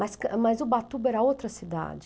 Mas mas o Ubatuba era outra cidade.